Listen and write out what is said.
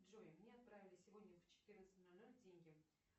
джой мне отправили сегодня в четырнадцать ноль ноль деньги